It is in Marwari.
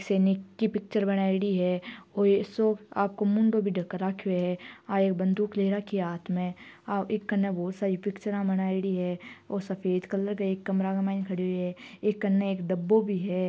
सैनिक की पिक्चर बनायोडी है ओ ऐसो आपको मुंडो भी ढक राख्यो है आ एक बन्दूक ले राखी है हाथ में आ ई कने बहुत सारी पिक्चरा बनायोडी है और सफेद कलर एक कमरा के मायने खडियो है इक कन्ने एक डब्बो भी है।